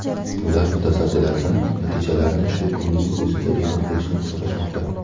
Ular mutasaddilardan natijalarni shu kunning o‘zida e’lon qilishni so‘rashmoqda.